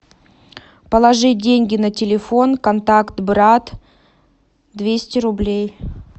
положи деньги на телефон контакт брат двести рублей